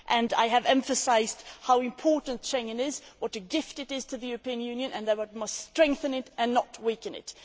I have emphasised how important Schengen is, what a gift it is to the European Union and that we must strengthen it and not weaken it.